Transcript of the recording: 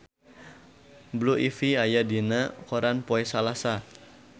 Blue Ivy aya dina koran poe Salasa